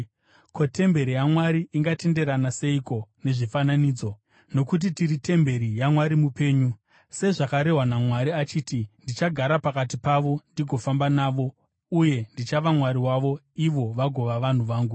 Ko, temberi yaMwari ingatenderana seiko nezvifananidzo? Nokuti tiri temberi yaMwari mupenyu. Sezvakarehwa naMwari, achiti, “Ndichagara pakati pavo ndigofamba navo, uye ndichava Mwari wavo, ivo vagova vanhu vangu.”